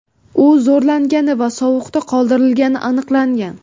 U zo‘rlangani va sovuqda qoldirilgani aniqlangan.